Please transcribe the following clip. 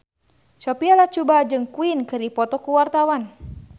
Sophia Latjuba jeung Queen keur dipoto ku wartawan